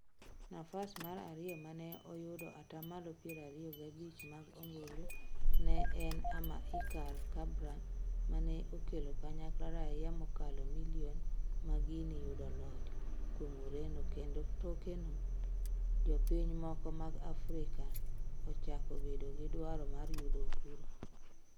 Nafas mar ariyo mane oyudo atamalo piero ariyo gabich mag ombulu ne en Ama-Icar Cabral mane okelo kanyakla raia mokalo million ma Guinea yudo loch kuom Ureno kendo tokeno to piny moko mag Afrika achako bedo gi dwaro mar yudo uhuru